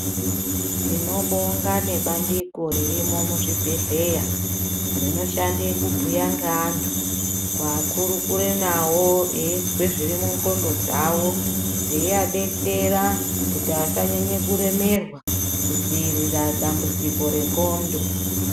Tinobonga nebandiko ririmo muzvibhehleya. Rinoshande kubhuya ngeantu, kuakurukure nawo eizwe zviri mundxondo dzawo, veiadetsera kuti asanyanye kuremerwa kudziirira dambudziko rendxondo.